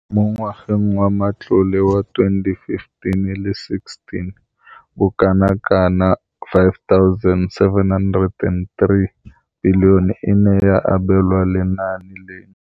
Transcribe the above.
Mo ngwageng wa matlole wa 2015,16, bokanaka R5 703 bilione e ne ya abelwa lenaane leno.